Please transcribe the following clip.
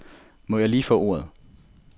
Må jeg lige få ordet.